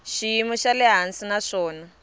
xiyimo xa le hansi naswona